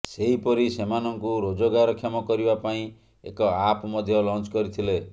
ସେହିପରି ସେମାନଙ୍କୁ ରୋଜଗାରକ୍ଷମ କରିବା ପାଇଁ ଏକ ଆପ୍ ମଧ୍ୟ ଲଞ୍ଚ କରିଥିଲେ